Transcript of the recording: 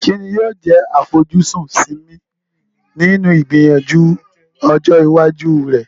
Kí ni yóò jẹ́ àfojúsùn Simi nínú ìgbìyànjú ọjọ́ iwájú rẹ̀?